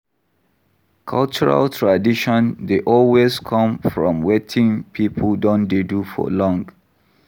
Cultural tradition dey always come from wetin pipo don dey do for long